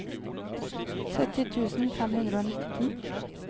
sytti tusen fem hundre og nitten